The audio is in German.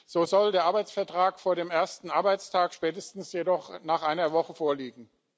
So soll der Arbeitsvertrag vor dem ersten Arbeitstag, spätestens jedoch nach einer Woche vorliegen.